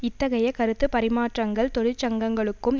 இத்தகைய கருத்து பரிமாற்றங்கள் தொழிற்சங்கங்களுக்கும்